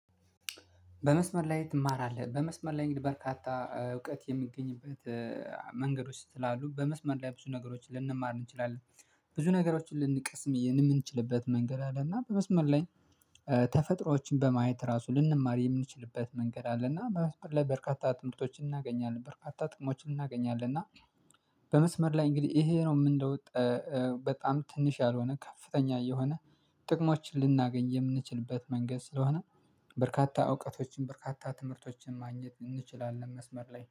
በመስመር ላይ ትማራለህ በመስመር ላይ እንግዲህ በርካታ እውቀት የሚገኝበት መንገዶች ስላሉ በመስመር ላይ ብዙ ነገሮችን ልንማር እንችላለን። ብዙ ነገሮችን ልንቀስም የምንችልበት መንገድ አለና በመስመር ላይ። ተፈጥሮዎችን በማየት ራሱ ልንማር የምንችልበት መንገድ አለ። እና በመስመር ላይ በርካታ ትምህርቶችን እናገኛለን በርካታ ጥቅሞችን እናገኛለን እና በመስመር ላይ እንግዲህ ይሄ ነው የምንለው ለውጥ። በጣም ትንሽ ያልሆነ ከፍተኛ የሆነ ጥቅሞችን ልናገኝ የምንችልበት መንገድ ስለሆነ። በርካታ እውቀቶችን በርካታ ትምህርቶችን ማግኘት እንችላለን መስመር ላይ